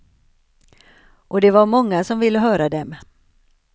Och det var många som ville höra dem.